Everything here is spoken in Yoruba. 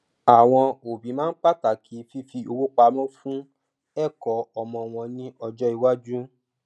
àwọn òbí máa ń pàtàkì fífi owó pamọ fún ẹkọ ọmọ wọn ní ọjọ iwájú